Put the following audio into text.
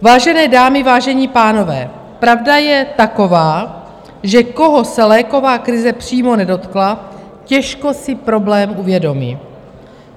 Vážené dámy, vážení pánové, pravda je taková, že koho se léková krize přímo nedotkla, těžko si problém uvědomí.